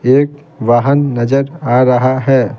एक वाहन नजर आ रहा है।